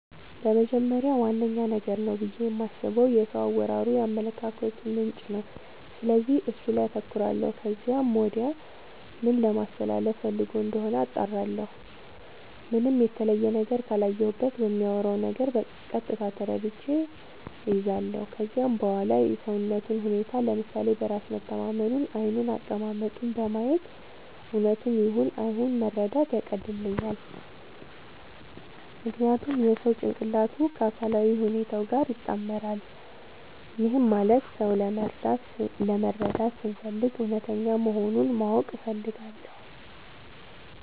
በመጀመሪያ ዋነኛ ነገር ነው ብዬ የማስበው የሰው አወራሩ የአመለካከቱ ምንጭ ነው፤ ስለዚህ እሱ ላይ አተኩራለው ከዚያም ወዲያ ምን ለማለስተላለፋ ፈልጎ እንደሆነ አጣራለሁ። ምንም የተለየ ነገር ካላየሁበት በሚያወራው ነገር ቀጥታ ተረድቼ እይዛለው። ከዚያም በዋላ የሰውነቱን ሁኔታ፤ ለምሳሌ በራስ መተማመኑን፤ ዓይኑን፤ አቀማመጡን በማየት እውነቱን ይሁን አይሁን መረዳት ያቀልልኛል። ምክንያቱም የሰው ጭንቅላቱ ከአካላዊ ሁኔታው ጋር ይጣመራል። ይህም ማለት ሰው ለመረዳት ስፈልግ እውነተኛ መሆኑን ማወቅ እፈልጋለው።